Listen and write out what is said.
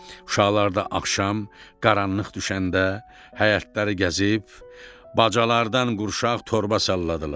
Uşaqlarda axşam qaranlıq düşəndə həyətləri gəzib bacalardan qurşaq torba salladılar.